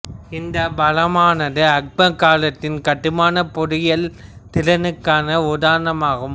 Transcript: இந்தப் பாலமானது அக்பர் காலத்தின் கட்டுமானப் பொறியியல் திறனுக்கான உதாரணம் ஆகும்